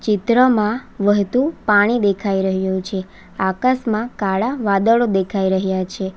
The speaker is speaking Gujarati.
ચિત્રમાં વહતુ પાણી દેખાય રહ્યું છે આકાશમાં કાળા વાદળો દેખાય રહ્યા છે.